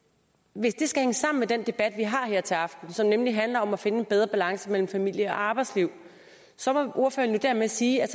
hvis det skal hænge sammen med den debat vi har her til aften som nemlig handler om at finde en bedre balance mellem familie og arbejdsliv så må ordføreren jo dermed sige at